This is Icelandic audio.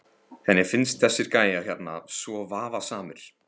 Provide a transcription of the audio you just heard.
Henni finnst þessir gæjar hérna svo vafasamir.